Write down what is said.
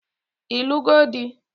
Ịlụgo di?